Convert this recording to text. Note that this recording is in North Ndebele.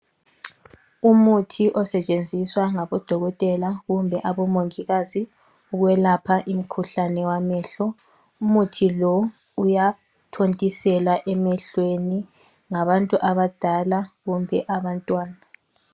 Umuthi osetshenziswa ngabodokotela kumbe abomongikazi ukwelapha imkhuhlane wamehlo. Umuthi lo uyathontiselwa emehlweni ngabantu abadala kumbe abantwana.